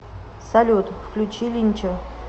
салют включи линча